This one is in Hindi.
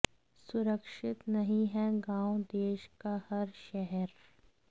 सुरक्षित नहीं है गांव देश का हर शहर